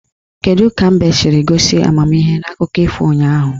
Kedu ka mbe siri gosi amamihe n'akụkọ ifo ụnyaahụ?